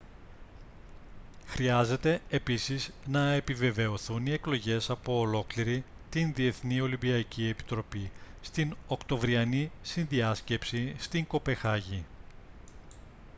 χρειάζεται επίσης να επιβεβαιωθούν οι εκλογές από ολόκληρη την διεθνή ολυμπιακή επιτροπή στην οκτωβριανή συνδιάσκεψη στην κοπεγχάγη